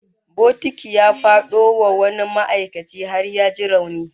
Bokiti ya fado wa wani ma'aikaci har ya ji rauni